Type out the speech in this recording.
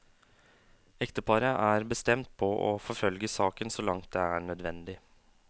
Ekteparet er bestemt på å forfølge saken så langt det er nødvendig.